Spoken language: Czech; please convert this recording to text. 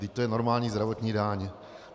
Vždyť to je normální zdravotní daň.